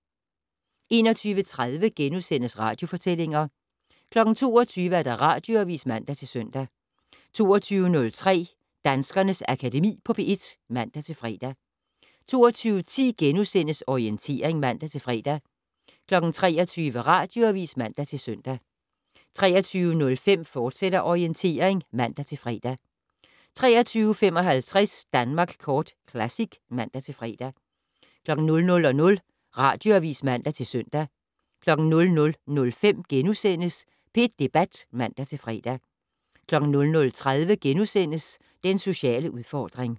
21:30: Radiofortællinger * 22:00: Radioavis (man-søn) 22:03: Danskernes Akademi på P1 (man-fre) 22:10: Orientering *(man-fre) 23:00: Radioavis (man-søn) 23:05: Orientering, fortsat (man-fre) 23:55: Danmark Kort Classic (man-fre) 00:00: Radioavis (man-søn) 00:05: P1 Debat *(man-fre) 00:30: Den sociale udfordring *